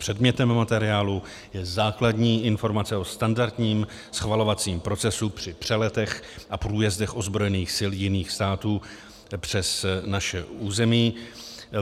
Předmětem materiálu je základní informace o standardním schvalovacím procesu při přeletech a průjezdech ozbrojených sil jiných států přes naše území.